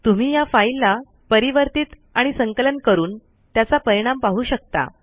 तुम्ही या फाईल ला परिवर्तीत आणि संकलन करून त्याचा परिणाम पाहू शकता